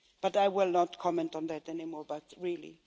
I will not comment on that anymore, but really!